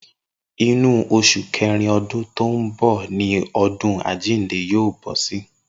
Inú os̩ù ké̩rin o̩dún tó ń bò̩ ni o̩dún àjíǹde yóò bó̩ sí